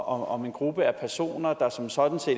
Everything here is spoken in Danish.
om en gruppe af personer der som sådan